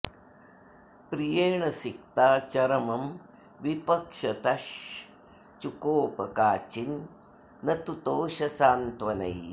प्रियेण सिक्ता चरमं विपक्षतश् चुकोप काचिन् न तुतोष सान्त्वनैः